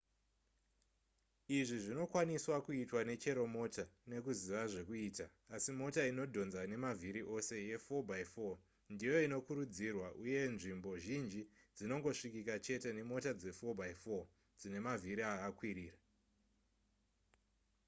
izvi zvinokwaniswa kuitwa nechero mota nekuziva zvekuita asi mota inodhonza nemavhiri ose ye4x4 ndiyo inokurudzirwa uye nzvimbo zhinji dzinongosvikika chete nemota dze4x4 dzine mavhiri akakwirira